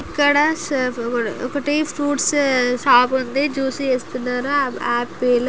ఇక్కడ ఒకటి fruits shop ఉంది. జూసీ చెస్తున్నారు ఆపిల్